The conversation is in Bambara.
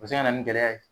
O bɛ se ka na ni gɛlɛya ye